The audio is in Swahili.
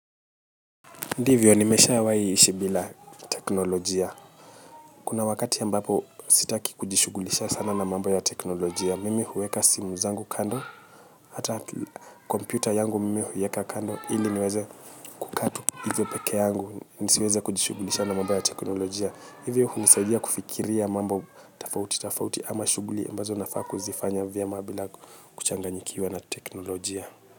Ndivyo nimeshawahi ishi bila teknolojia. Kuna wakati ambapo sitaki kujishughulisha sana na mambo ya teknolojia. Mimi huweka simu zangu kando, hata kompyuta yangu mimi huiweka kando. Ili niweze kukaa tu hivyo peke yangu, nisiweze kujishughulisha na mambo ya teknolojia. Hivyo hunisaidia kufikiria mambo tofauti tofauti ama shughuli ambazo nafaa kuzifanya vyema bila kuchanganyikiwa na teknolojia.